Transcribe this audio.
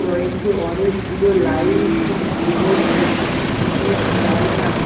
রয়েছে অনেকগুলো লাইট এবং একটি টিনের।